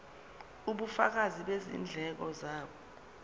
ubufakazi bezindleko zabo